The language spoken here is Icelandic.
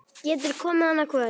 Geturðu komið annað kvöld?